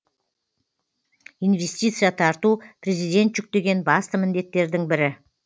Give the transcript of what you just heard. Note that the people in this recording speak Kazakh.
инвестиция тарту президент жүктеген басты міндеттердің бірі